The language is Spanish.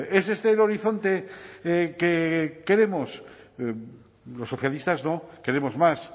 es este el horizonte que queremos los socialistas no queremos más